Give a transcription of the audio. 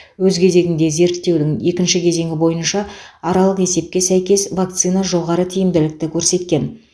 өз кезегінде зерттеудің екінші кезеңі бойынша аралық есепке сәйкес вакцина жоғары тиімділікті көрсеткен